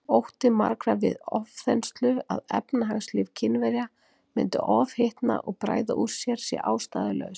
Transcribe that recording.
Ótti margra við ofþenslu, að efnahagslíf Kínverja myndi ofhitna og bræða úr sér, sé ástæðulaus.